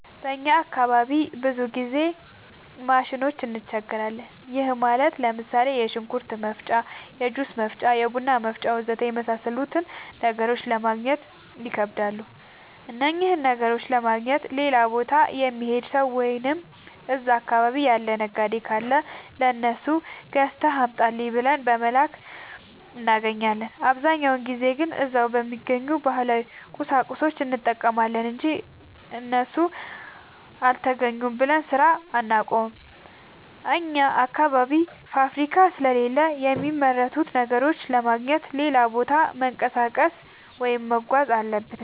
በእኛ አካባቢ ብዙ ጊዜ ማሽኖች እንቸገራለን። ይህም ማለት ለምሳሌ፦ የሽንኩርት መፍጫ፣ የጁስ መፍጫ፣ የቡና መፍጫ.... ወዘተ የመሣሠሉትን ነገሮች ለማገግኘት ይከብዳሉ። እነኝህን ነገሮች ለማግኘት ሌላ ቦታ የሚሄድ ሠው ወይም እዛ አካባቢ ያለ ነጋዴ ካለ ለሱ ገዝተህ አምጣልኝ ብለን በመላክ እናገኛለን። አብዛኛውን ጊዜ ግን እዛው በሚገኝ ባህላዊ ቁሳቁስ እንጠቀማለን አንጂ እሱ አልተገኘም ብለን ስራ አናቆምም። አኛ አካባቢ ፋብሪካ ስለሌለ የሚመረቱ ነገሮችን ለማግኘት ሌላ ቦታ መንቀሳቀስ ወይም መጓዝ አለብን።